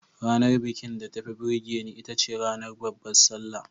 Ranar bikin da tafi burge ni itace ranar Babbar Sallah.